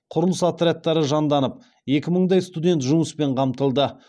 құрылыс отрядтары жанданып екі мыңдай студент жұмыспен қамтылды